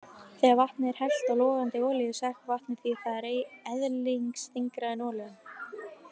Þegar vatni er hellt á logandi olíu sekkur vatnið, því það er eðlisþyngra en olían.